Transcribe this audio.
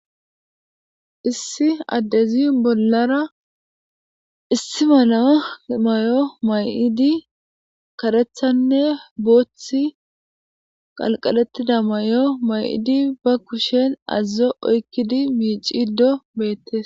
Issi adezi nollaravissi mala mayo mayid karethin e boothiy diza mayo mayid be kushen aazo oykid betes